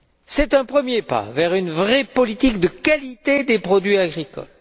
C'est un premier pas vers une vraie politique de qualité des produits agricoles.